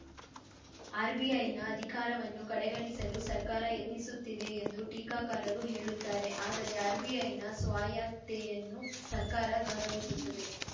ಆರ್‌ಬಿಐನ ಅಧಿಕಾರವನ್ನು ಕಡೆಗಣಿಸಲು ಸರ್ಕಾರ ಯತ್ನಿಸುತ್ತಿದೆ ಎಂದು ಟೀಕಾಕಾರರು ಹೇಳುತ್ತಾರೆ ಆದರೆ ಆರ್‌ಬಿಐನ ಸ್ವಾಯತ್ತೆಯನ್ನು ಸರ್ಕಾರ ಗೌರವಿಸುತ್ತದೆ